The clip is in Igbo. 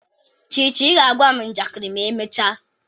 Chichi, ị ga-agwa m njakịrị ma emechaa?